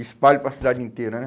Espalho para a cidade inteira, né?